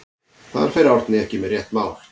Þar fer Árni ekki með rétt mál.